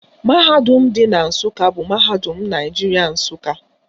Mahadum dị na Nsụka bụ Mahadum Naijiria, Nsụka